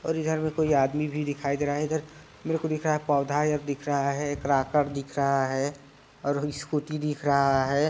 और इधर में कोई आदमी भी दिखाई दे रहा है इधर मेरे को पौधा इधर दिख रहा है कराकट दिख रहा है और स्कूटी दिख रहा है।